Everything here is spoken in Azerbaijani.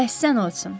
Əhsən olsun.